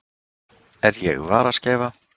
Er ég varaskeifa?